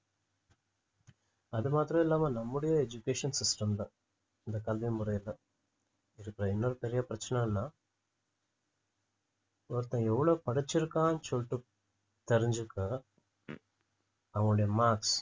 அது மாத்திரம் இல்லாம நம்முடைய education system ல இந்த கல்வி முறையில இருக்கிற இன்னொரு பெரிய பிரச்சனை என்னன்னா ஒருத்தன் எவ்வளவு படிச்சிருக்கான்னு சொல்லிட்டு தெரிஞ்சுக்க அவனுடைய marks